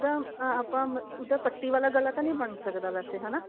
ਉਹਦਾ ਆਪਾਂ ah ਉਹਦਾ ਪੱਟੀ ਵਾਲਾ ਗਲਾ ਤਾਂ ਨੀ ਬਣ ਸਕਦਾ ਵੈਸੇ ਹਨਾ